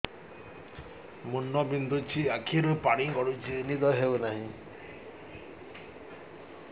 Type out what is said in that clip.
ମୁଣ୍ଡ ବିନ୍ଧୁଛି ଆଖିରୁ ପାଣି ଗଡୁଛି ନିଦ ହେଉନାହିଁ